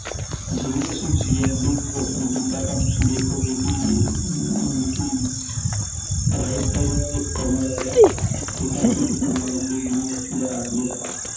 ਜਿਵੇਂ ਅਸੀਂ GNDUopen ਕੀਤਾ ਤੁਸੀਂ ਦੇਖੋਗੇ, ਕੀ ਹਮ Right side ਇਕ corner ਆ ਰਿਹਾ ਠੀਕ ਐ, ਇਹਦੇ ਚ ਗੁਰੂ ਨਾਨਕ ਦੇਵ ਯੂਨੀਵਰਸਿਟੀ ਦਾ ਜਿਹੜਾ